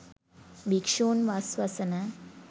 භික්‍ෂූන් වස් වසන